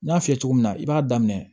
N y'a f'i ye cogo min na i b'a daminɛ